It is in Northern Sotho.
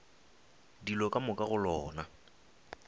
dilo ka moka go lona